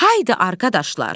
Haydı arqadaşlar.